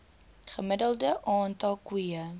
gemiddelde aantal koeie